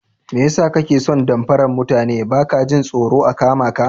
Mai yasa kake son damfaran mutane baka jin tsoron a kamaka?